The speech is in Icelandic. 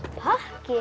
pakki